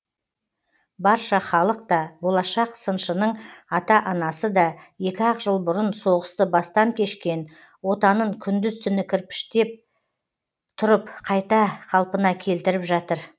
барша халық та болашақ сыншының ата анасы да екі ақ жыл бұрын соғысты бастан кешкен отанын күндіз түні кірпіштеп тұрып қайта қалпына келтіріп жатыр